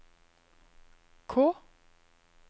K